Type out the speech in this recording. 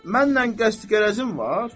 Mənlə qəsd-gərəzim var?